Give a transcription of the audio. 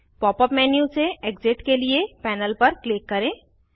pop up menu से exit के लिए पैनल पर क्लिक करें